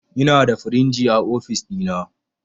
Inada firinji a ofis ɗina